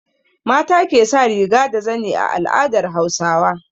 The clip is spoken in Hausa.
Mata ke sa riga da zani a al'adar Hausawa.